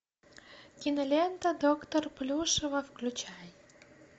кинолента доктор плюшева включай